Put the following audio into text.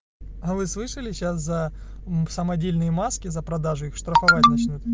а вы слышали сейчас за мм самодельные маски за продажу их штрафовать начнут